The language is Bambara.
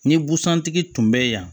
Ni busan tigi tun bɛ yen yan